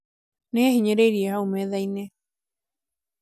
nĩ ehinyĩrĩirie haũ metha-inĩ